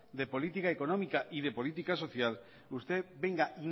de política económica y de política social usted venga